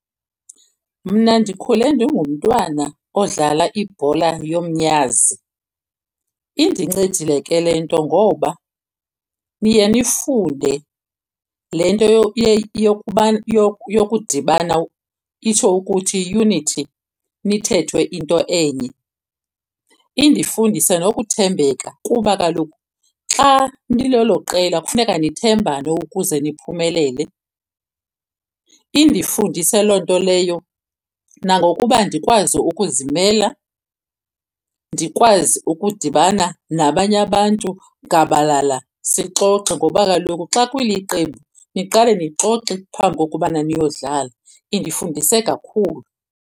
Mna ndikhule ndigumntwana odlala ibhola yomnyazi. Indincedile ke le nto ngoba niye nifunde le nto yokuba yokudibana itsho ukuthi unity nithethe into enye. Indifundise nokuthembeka kuba kaloku xa nilelo qela kufuneka nithembane ukuze niphumelele. Indifundise loo nto leyo nangokuba ndikwazi ukuzimela, ndikwazi ukudibana nabanye abantu gabalala sixoxe, ngoba kaloku xa kuliqembu niqale lixoxe phambi kokubana niyodlala, indifundise kakhulu.